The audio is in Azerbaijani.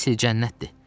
Əsl cənnətdir.